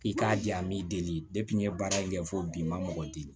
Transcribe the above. I k'a di a m'i deli n ye baara in kɛ fo bi n ma mɔgɔ di